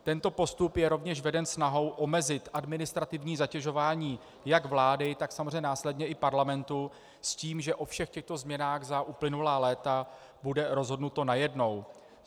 Tento postup je rovněž veden snahou omezit administrativní zatěžování jak vlády, tak samozřejmě následně i Parlamentu, s tím, že o všech těchto změnách za uplynulá léta bude rozhodnuto najednou.